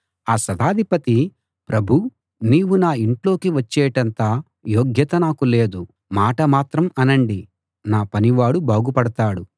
ఆ శతాధిపతి ప్రభూ నీవు నా యింట్లోకి వచ్చేటంత యోగ్యత నాకు లేదు మాట మాత్రం అనండి నా పనివాడు బాగుపడతాడు